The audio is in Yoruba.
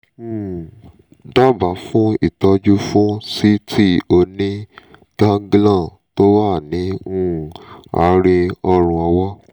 um dábàá fún ìtọ́jú fún síìtì oní-ganglion tó wà ní um àárín ọrùn ọwọ́